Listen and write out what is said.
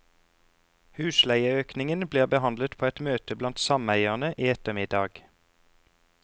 Husleieøkningen blir behandlet på et møte blant sameierne i ettermiddag.